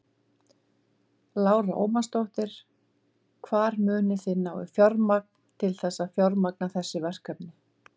Lára Ómarsdóttir: Hvar munið þið ná í fjármagn til þess að fjármagna þessi verkefni?